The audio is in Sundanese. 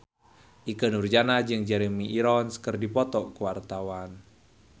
Ikke Nurjanah jeung Jeremy Irons keur dipoto ku wartawan